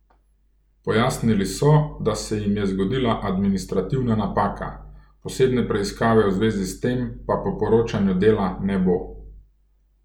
Pojasnili so, da se jim je zgodila administrativna napaka, posebne preiskave v zvezi s tem pa po poročanju Dela ne bo.